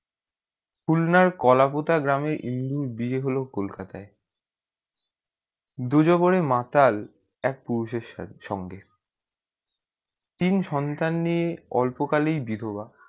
খুলনার কলাপোতা গ্রামে ইন্দুর বিয়ে হলো কলকাতায় দু যে করে মাতাল এক পুরুষে সঙ্গে তিন সন্তান নিয়ে অল্প কালেই বিধবা।